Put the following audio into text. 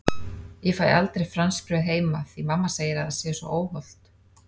Ég fæ aldrei franskbrauð heima því mamma segir að það sé svo óhollt!